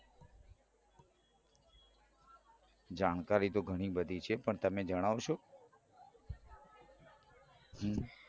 જાણકારી તો ઘણી બધી છે પણ તમે જણાવશો